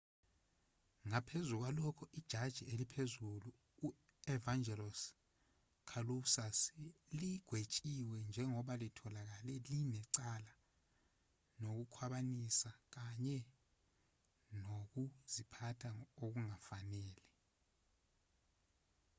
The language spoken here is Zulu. ngaphezu kwalokho ijaji eliphezulu u-evangelos kalousus ligwetshiwe njengoba litholakale linecala lokukhwabanisa kanye nokuziphatha okungafanele